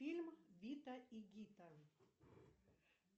фильм зита и гита